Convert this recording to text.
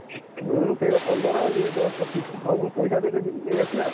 ହଁ ସେଇଆ ପନ୍ଦର ଇଏ ଦଶ ପଚିଶ ହଉ ମୁଁ ପଇସା ଦେଇଦେବି ନେଇ ଆସିଆ ଆଉ।